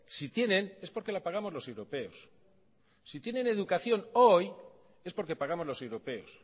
si tienen es porque la pagamos los europeos si tienen educación hoy es porque pagamos los europeos